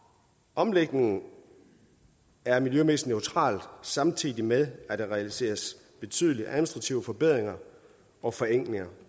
omlægningen er miljømæssigt neutral samtidig med at der realiseres betydelige administrative forbedringer og forenklinger